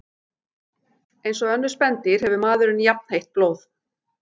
Eins og önnur spendýr hefur maðurinn jafnheitt blóð.